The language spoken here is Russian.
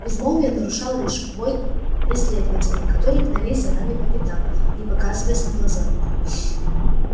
безмолвие нарушал лишь вой преследователей которые гнались за ними по пятам не показываясь на глаза